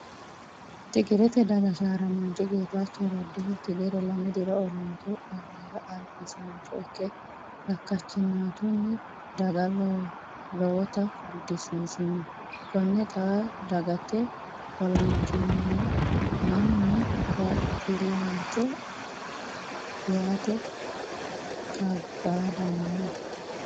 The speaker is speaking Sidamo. Tigirte daga sharramanchi Getacho redihu tigire lame diro olantu olira albisancho ikke kakachinatunni daga lowotta gudisiisino kone xa dagate olamamcho mannu baxilanchoti yaate kabbadano.